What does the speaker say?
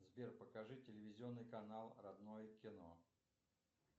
сбер покажи телевизионный канал родное кино